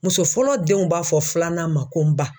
Muso fɔlɔ denw b'a fɔ filanan ma ko n ba